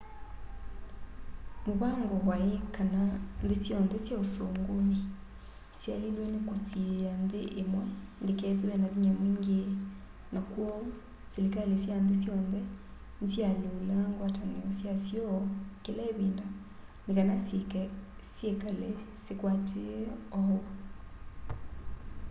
mũvango wai kana nthĩ syonthe sya ũsũngũnĩ syaĩlĩlwe nĩ kũsiĩa nthĩ ĩmwe ndĩkethĩwe na vinya mwingĩ na kwoou silikalĩ sya nthĩ syonthe nĩsyalyũlaa ngwatanĩo syasyo kĩla ĩvinda nĩkana syĩkale sikwatĩĩe ũu